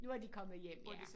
Nu er de kommet hjem ja